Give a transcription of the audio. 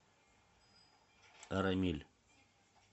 арамиль